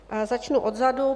Začnu odzadu.